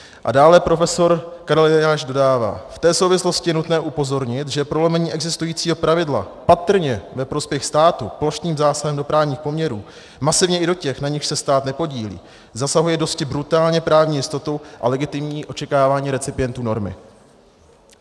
A dále profesor Karel Eliáš dodává: V té souvislosti je nutné upozornit, že prolomení existujícího pravidla patrně ve prospěch státu plošným zásahem do právních poměrů, masivně i do těch, na nichž se stát nepodílí, zasahuje dosti brutálně právní jistotu a legitimní očekávání recipientů normy.